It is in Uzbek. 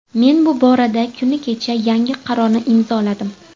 Men bu borada kuni kecha yangi qarorni imzoladim.